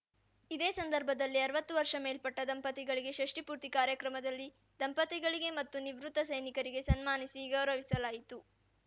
ಇದೇ ಸಂದರ್ಬದಲ್ಲಿ ಆರ್ವತ್ತು ವರ್ಷ ಮೇಲ್ಪಟ್ಟ ದಂಪತಿಗಳಿಗೆ ಷಷ್ಟಿ ಪೂರ್ತಿ ಕಾರ್ಯಕ್ರಮದಲ್ಲಿ ದಂಪತಿಗಳಿಗೆ ಮತ್ತು ನಿವೃತ್ತ ಸೈನಿಕರಿಗೆ ಸನ್ಮಾನಿಸಿ ಗೌರವಿಸಲಾಯಿತು